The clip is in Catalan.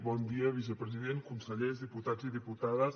bon dia vicepresident consellers diputats i diputades